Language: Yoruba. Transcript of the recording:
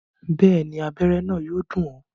Bẹ́ẹ̀ni, abẹ́rẹ́ náà yóò dùn ọ́